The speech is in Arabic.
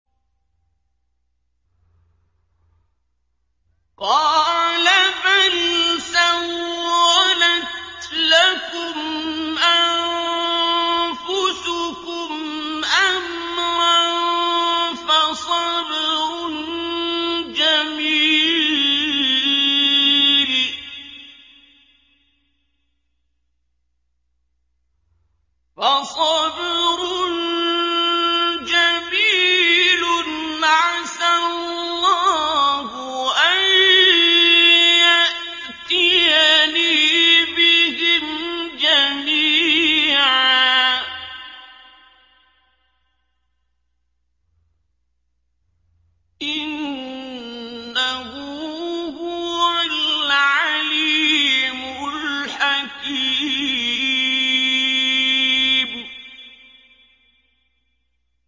قَالَ بَلْ سَوَّلَتْ لَكُمْ أَنفُسُكُمْ أَمْرًا ۖ فَصَبْرٌ جَمِيلٌ ۖ عَسَى اللَّهُ أَن يَأْتِيَنِي بِهِمْ جَمِيعًا ۚ إِنَّهُ هُوَ الْعَلِيمُ الْحَكِيمُ